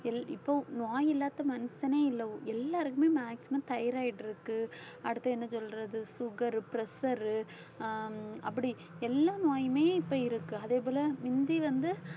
இப்போ நோய் இல்லாத மனுஷனே இல்லை எல்லாருக்குமே maximum thyroid இருக்கு அடுத்து என்ன சொல்றது sugar pressure உ அஹ் அப்படி எல்லா நோயுமே இப்ப இருக்கு அதே போல முந்தி வந்து